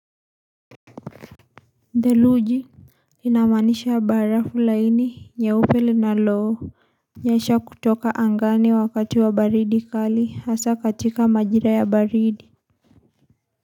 Theluji inamanisha barafu laini nyeupe lina loo nyesha kutoka angani wakati wa baridi kali hasa katika majira ya baridi.